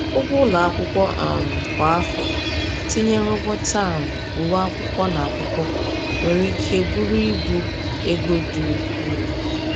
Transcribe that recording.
Ụgwọ ụlọ akwụkwọ um kwa afọ, tinyere ụgwọ taamụ, uwe akwụkwọ, na akwụkwọ, nwere ike bụrụ ibu ego dị ukwuu.